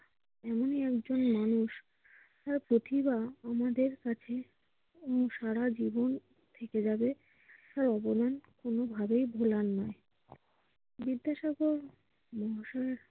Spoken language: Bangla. এমন একজন মানুষ যার প্রতিভা আমাদের কাছে সারাজীবন থেকেযাবে কোনভাবেই ভুলার নয়।